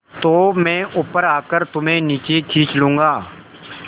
तो मैं ऊपर आकर तुम्हें नीचे खींच लूँगा